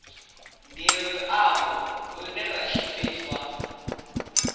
ndi luambo lune lwa shumiswa